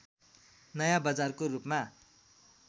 नयाँ बजारको रूपमा